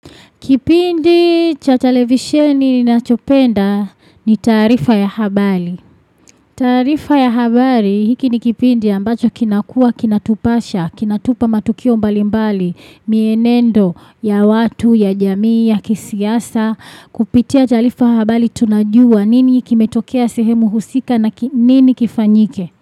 Kipindi cha televisheni ninachopenda ni taarifa ya habari. Taarifa ya habari hiki ni kipindi ambacho kinakua kinatupasha, kinatupa matukio mbalimbali, mienendo ya watu, ya jamii, ya kisiasa, kupitia taarifa habari tunajua nini kimetokea sehemu husika na nini kifanyike.